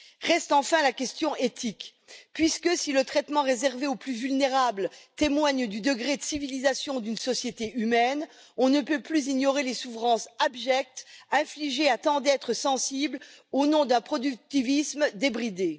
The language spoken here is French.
Reste enfin la question éthique, puisque si le traitement réservé aux plus vulnérables témoigne du degré de civilisation d'une société humaine, on ne peut plus ignorer les souffrances abjectes infligées à tant d'êtres sensibles au nom d'un productivisme débridé.